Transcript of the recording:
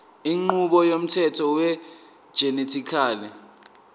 inqubo yomthetho wegenetically